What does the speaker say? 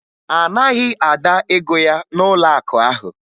A naghị Ada ego ya n'ụlọakụ ahụ